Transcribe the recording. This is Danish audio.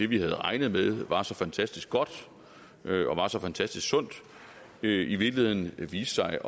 vi havde regnet med var så fantastisk godt og var så fantastisk sundt i virkeligheden viste sig